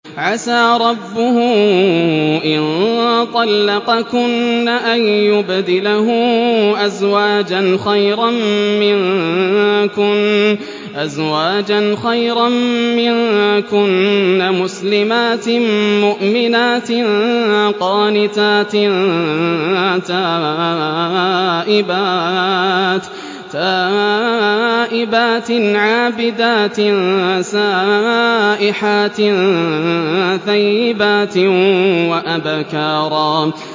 عَسَىٰ رَبُّهُ إِن طَلَّقَكُنَّ أَن يُبْدِلَهُ أَزْوَاجًا خَيْرًا مِّنكُنَّ مُسْلِمَاتٍ مُّؤْمِنَاتٍ قَانِتَاتٍ تَائِبَاتٍ عَابِدَاتٍ سَائِحَاتٍ ثَيِّبَاتٍ وَأَبْكَارًا